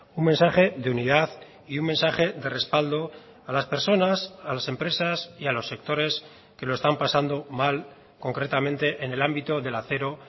un mensaje de unidad y un mensaje de respaldo a las personas a las empresas y a los sectores que lo están pasando mal concretamente en el ámbito del acero